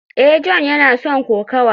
a, John yana son kokawa